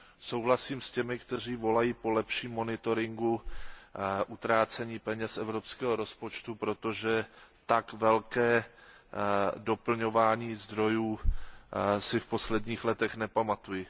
Souhlasím s těmi, kteří volají po lepším monitoringu utrácení peněz z evropského rozpočtu, protože tak velké doplňování zdrojů si v posledních letech nepamatuji.